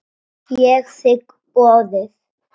Ég þigg boðið.